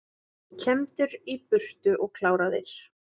Kembdir í burtu og kláraðir